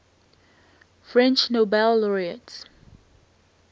french nobel laureates